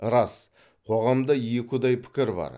рас қоғамда екіұдай пікір бар